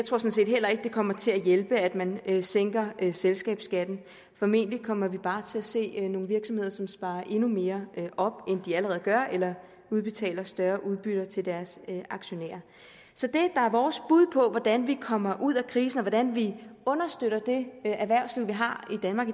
sådan set heller ikke det kommer til at hjælpe at man sænker selskabsskatten formentlig kommer vi bare til at se nogle virksomheder som sparer endnu mere op end de allerede gør eller udbetaler større udbytter til deres aktionærer så det der er vores bud på hvordan vi kommer ud af krisen og hvordan vi understøtter det erhvervsliv vi har i danmark